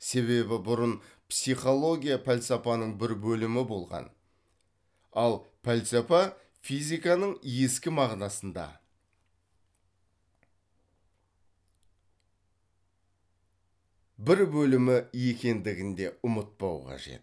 себебі бұрын психология пәлсапаның бір бөлімі болған ал пәлсапа физиканың ескі мағынасында бір бөлімі екендігін де ұмытпау қажет